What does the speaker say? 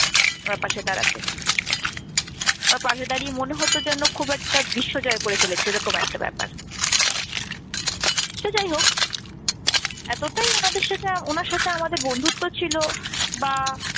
ওনার পাশে দাঁড়াতে। ওনার পাশে দাঁড়িয়ে মনে হতো যেন খুব একটা বিশ্ব জয় করে ফেলেছি এরকম একটা ব্যাপার। সে যাই হোক এতটাই ওনাদের সাথে ওনার সাথে আমাদের বন্ধুত্ব ছিল বা